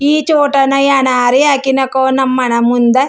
ಈ ಛೋಟಾನ ನಯನಾರಿಆಕಿನಕೊ ನಮ್ಮನೆ ಮುಂದೆ.